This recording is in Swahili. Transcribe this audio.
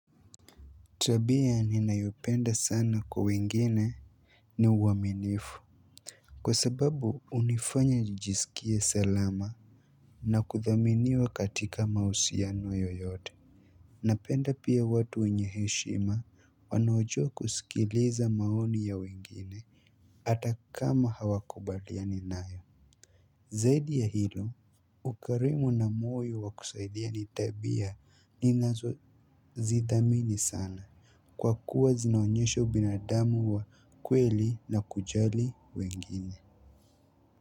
Tabia ninayopenda sana kwa wengine ni uaminifu. Kwa sababu unifanya nijisikie salama na kuthaminiwa katika mausiano yoyote. Napenda pia watu wenye heshima wanaojua kusikileza maoni ya wengine hata kama hawakubaliani nayo. Zaidi ya hilo ukarimu na moyo wa kusaidia ni tabia ninazozidhamini sana. Kwa kuwa zinaonyesha ubinadamu wa kweli na kujali wengine.